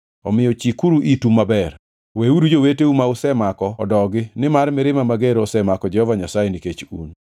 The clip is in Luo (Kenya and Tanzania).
Omiyo chikuru itu maber! Weuru joweteu ma usemako odogi nimar mirima mager osemako Jehova Nyasaye nikech un.”